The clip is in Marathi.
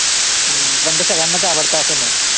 अं पण ते सगळ्यांच आवडतं असं नाही.